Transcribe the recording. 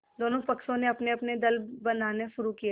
दोनों पक्षों ने अपनेअपने दल बनाने शुरू किये